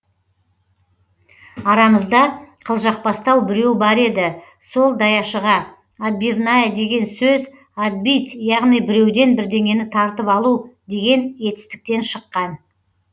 арамызда қылжақбастау біреу бар еді сол даяшыға отбивная деген сөз отбить яғни біреуден бірдеңені тартып алу деген етістіктен шыққан